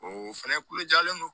O fɛnɛ kulo jalen don